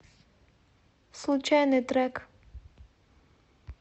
случайный трек